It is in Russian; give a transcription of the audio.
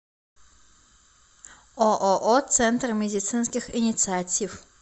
ооо центр медицинских инициатив